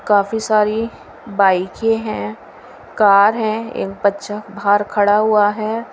काफी सारी बाइके हैं कार है एक बच्चा बाहर खड़ा हुआ है।